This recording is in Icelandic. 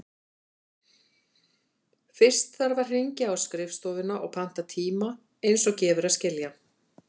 Fyrst þarf að hringja á skrifstofuna og panta tíma, eins og gefur að skilja.